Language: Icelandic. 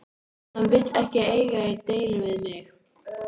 Hann vill ekki eiga í deilum við mig.